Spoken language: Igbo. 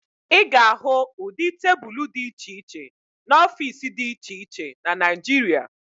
Ị ga-ahụ ụdị tebulu dị iche iche n'ọfiisi dị iche iche na Naịjirịa